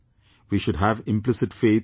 We should have implicit faith in the people